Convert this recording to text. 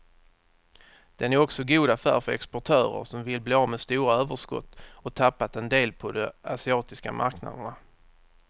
Den är också god affär för exportörer som vill bli av med stora överskott och tappat en del på de asiatiska marknaderna.